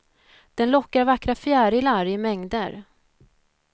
Den lockar vackra fjärilar i mängder.